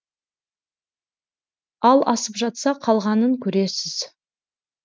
ал асып жатса қалғанын көресіз